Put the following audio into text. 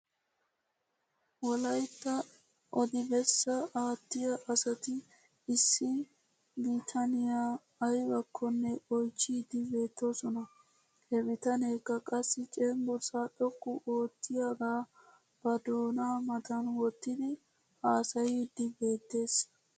Wolaytta odi bessaa aattiyaa asati issi bitaniyaa aybakkonne oychchiiddi beettoosona. He bitaneekka qassi cenggursaa xoqqu oottiyaagaa ba doonaa matan wottidi haasayiiddi beettes.